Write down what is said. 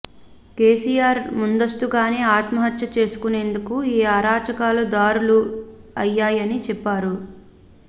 కేసీఆర్ ముందస్తుగానే ఆత్మహత్య చేసుకునేందుకు ఈ అరాచకాలు దారులు అయ్యాయని చెప్పారు